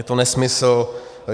Je to nesmysl.